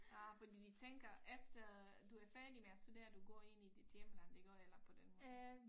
Ah fordi de tænker efter du er færdig med at studere du går ind i dit hjemland iggå eller på den måde